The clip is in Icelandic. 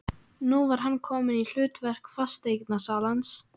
Nú var hann kominn í hlutverk fasteignasalans.